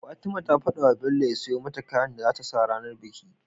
Fatima ta fadawa bello ya siyo mata kayan da zata sa ranar biki